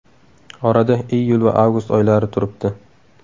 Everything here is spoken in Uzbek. Orada iyul va avgust oylari turibdi.